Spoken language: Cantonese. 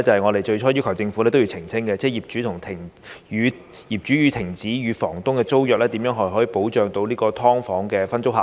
我們最初要求政府澄清的另一項修訂，是業主停止與房東的租約時如何保障"劏房"分租客。